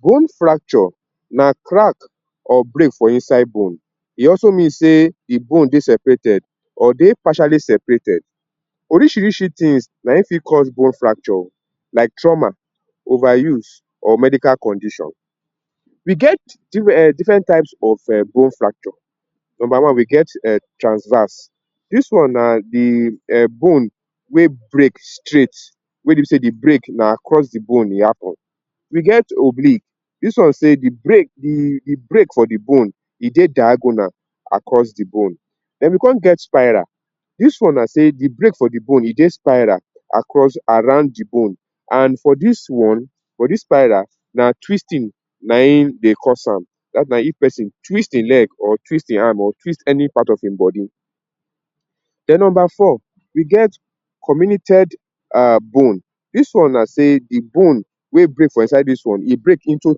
Bone fracture na crack or break for inside bone, e also means sey de bone dey seperated or dey partially separated. Orishirishi things na im fit cause bone fracture oo like trauma, over use or medical condition. We get um different types of bone fracture. Number one we get transverse, dis na de um bone wey break straight wey be sey de break na across de bone e happen. We get oblique, dis one sey um de break um de break for de bone e dey diagonal across de bone. Den we come get spiral. Dis one na sey de break for de bone e dey spiral across around de bone. And for dis one, for dis spiral na twisting na im dey cause am, whereby if persin twist im leg or twist im hand or twist any part of im body. Den number four, we get comminuted um bone. Dis one na sey de bone wey break for inside dis one, e break for into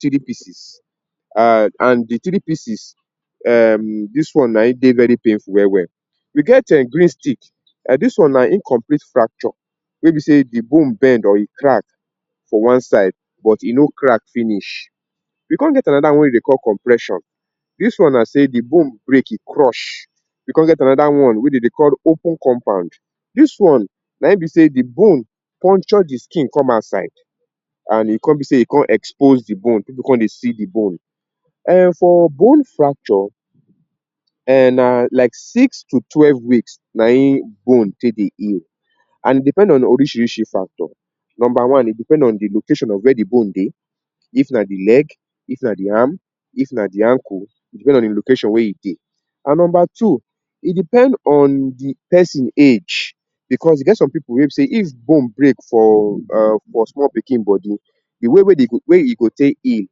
three piece um and de three pieces um dis one na im dey very painful well well. We get um green stick, dis one na incomplete fracture wey be sey de bone bend or e crack for one side but e no crack finish. We come get another one wey dem dey call complexion. Dis one na say de bone break, e crush. We come get another one wey dem dey call open compound. Dis one na im be sey de bone puncture de skin come outside and e come be sey e come expose de bone people come dey see de bone. um for bone fracture um na like six to twelve weeks na im bone take dey heal and e depend on orishirishi factor. Number one e depend on de location of where de bone dey if na de leg, if na de arm, if na de ankle, e depend on de location wey e dey. And number two, e depend on de person age because e get some people wey be sey if bone break for um for small pikin body, de way wey e go take heal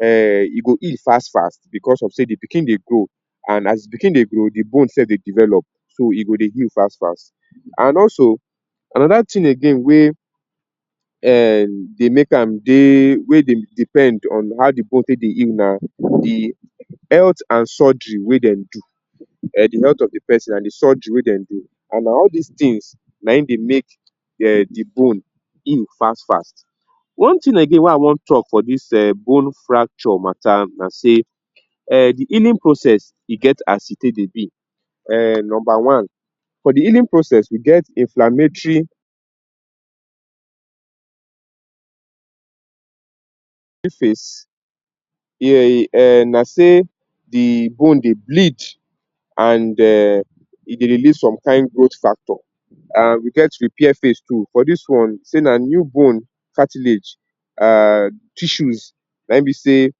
um e go heal fast fast because of sey de pikin dey grow and as pikin dey grow de bone sef dey develop, so e go dey heal fast fast. And also another thing again wey um dey make am dey? Wey dey depend on how de bone take dey heal na de health and surgery wey dem do, um de health of de person and de surgery wey dem do and na all dis thing na im dey make dey bone heal fast fast. One thing again wey I want talk for dis um bone fracture matter na say, um de healing process e get as e take dey be. Um number one, for de healing process e get inflammatory? phase.? Na say de bone dey bleed and um e dey dey need some kain growth factor. And um we get repair phase too. For dis one sey na new bone cartilage um tissues na im be sey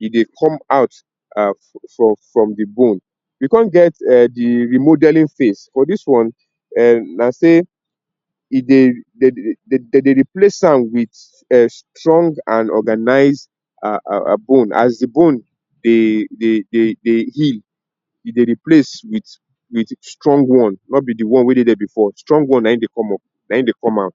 e dey come out for? from de bone. We come get um de remodelling phase. For dis one um na sey if? dem dey replace am wit um strong and organized um bone. As de bone? dey dey heal e dey replace wit wit strong one, no be de one wey dey there before. Strong one na im dey come up, na im dey come out.